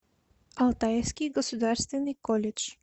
алтайский государственный колледж